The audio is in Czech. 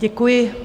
Děkuji.